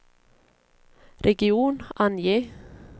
region, ange